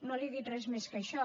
no li he dit res més que això